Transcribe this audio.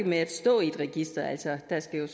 med at stå i et register altså der skal